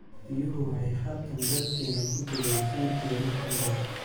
Biyuhu waxay halkan dalkeena ku dileen shan iyo lixdan qof.